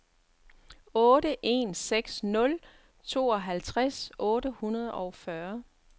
otte en seks nul tooghalvtreds otte hundrede og fyrre